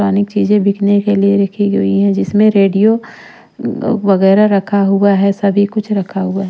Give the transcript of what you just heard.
पुरानी चीजें बिकने के लिए रखी हुई हैं जिसमें रेडियो वगैरह रखा हुआ है सभी कुछ रखा हुआ है।